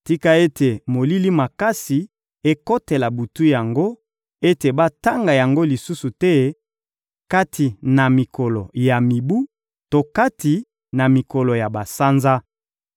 Tika ete molili makasi ekotela butu yango, ete batanga yango lisusu te kati na mikolo ya mibu to kati na mikolo ya basanza!